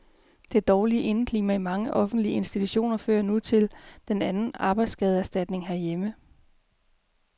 Det dårlige indeklima i mange offentlige institutioner fører nu til den anden arbejdsskadeerstatning herhjemme.